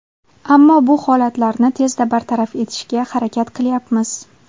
Ammo bu holatlarni tezda bartaraf etishga harakat qilyapmiz.